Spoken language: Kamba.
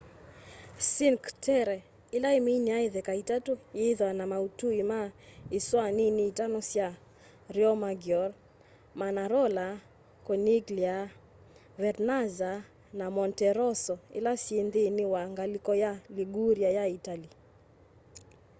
cinque terre ila iminia itheka itatu yithwaa na mautui ma isoa nini itano sya riomaggiore manarola corniglia vernazza na monterosso ila syi nthini wa ngaliko ya liguria ya itali